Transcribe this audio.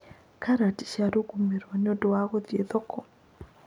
Karati ciarũgamĩirũo nĩ ũndũ wa gũthiĩ thoko